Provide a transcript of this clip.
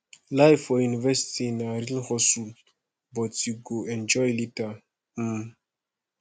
life for university na real hustle but you go enjoy later um